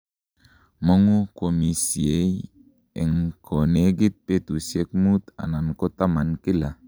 mongu kwomisie en konegit betusiek muut anan kotaman kila